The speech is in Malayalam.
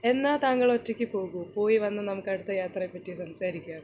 എന്നാൽ താങ്കൾ ഒറ്റയ്ക്ക് പോകു പോയി വന്നു നമുക്ക് അടുത്ത യാത്രയെപ്പറ്റി സംസാരിക്കാ